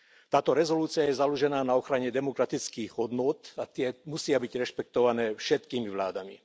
Táto rezolúcia je založená na ochrane demokratických hodnôt a tie musia byť rešpektované všetkými vládami.